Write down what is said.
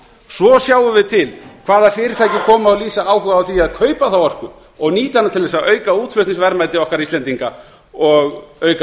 svo sjáum við til hvaða fyrirtæki koma og lýsa áhuga á því að kaupa þá orku og nýta hana til að auka útflutningsverðmæti okkar íslendinga og auka